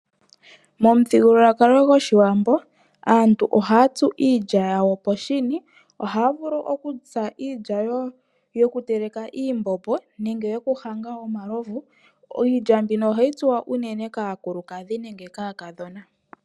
Momuthigululwakalo gwoshiwambo, aantu ohaa tsu iilya yawo oohshini. Ohaa vulu oku tsa iilya yoku teleka iimbombo, nenge yoku hanga omalovu. Iilya mbino oha yi tsu unene kaakukukadh nenge kaakadhona.